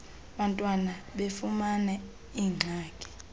bantwana befumana iingxaki